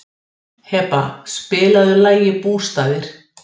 Heba, spilaðu lagið „Bústaðir“.